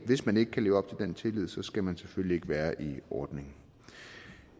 hvis man ikke kan leve op til den tillid skal man selvfølgelig ikke være i ordningen